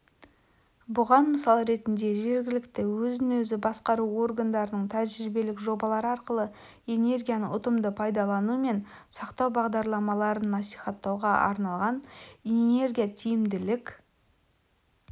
бұған мысал ретінде жергілікті өзін-өзі басқару органдарының тәжірибелік жобалар арқылы энергияны ұтымды пайдалану мен сақтау бағдарламаларын насихаттауға арналған энергиятиімділік